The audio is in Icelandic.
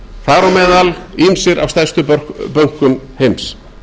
þar á meðal ýmsir af stærstu bönkum heims